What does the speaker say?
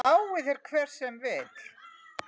Lái þér hver sem vill.